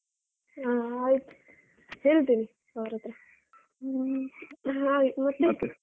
ಆ ಆಯ್ತ್ ಹೇಳ್ತೀನಿ ಅವ್ರ್ ಹತ್ರ. ಹ್ಮ